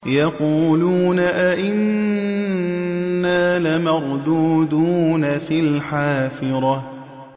يَقُولُونَ أَإِنَّا لَمَرْدُودُونَ فِي الْحَافِرَةِ